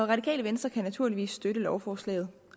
radikale venstre kan naturligvis støtte lovforslaget